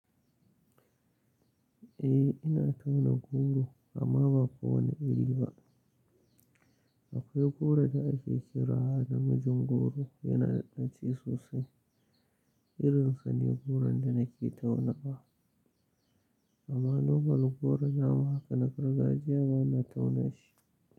Eh ina tauna goro amma ba kowane iri ba. Akwai goron da ake kira da mijin goro yana da ɗaci sosai irin sane goron da nake tauna wa. Amma nomal goro namu haka na gargajiya bana tauna shi.